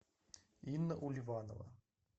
инна ульванова